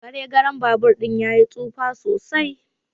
Garegaren babur din yayi tsufa sosai.